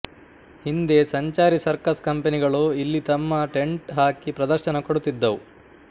ಹಿಂದೆ ಸಂಚಾರಿ ಸರ್ಕಸ್ ಕಂಪೆನಿಗಳು ಇಲ್ಲಿ ತಮ್ಮ ಟೆಂಟ್ ಹಾಕಿ ಪ್ರದರ್ಶನ ಕೊಡುತ್ತಿದ್ದವು